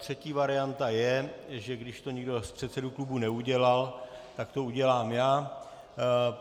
Třetí varianta je, že když to nikdo z předsedů klubů neudělal, tak to udělám já.